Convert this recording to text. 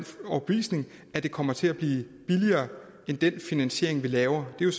overbevisning at det kommer til at blive billigere end den finansiering vi laver det er